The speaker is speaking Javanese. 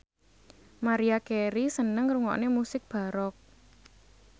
Maria Carey seneng ngrungokne musik baroque